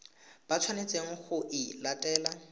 ba tshwanetseng go e latela